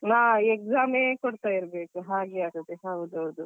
ಹಾ exam ಯೆ ಕೊಡ್ತಾ ಇರ್ಬೇಕು ಹಾಗೆ ಆಗ್ತಾದೆ ಹೌದ್ ಹೌದು.